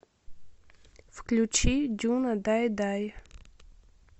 включи дюна дай дай